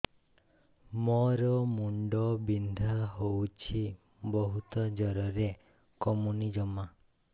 ମୋର ମୁଣ୍ଡ ବିନ୍ଧା ହଉଛି ବହୁତ ଜୋରରେ କମୁନି ଜମା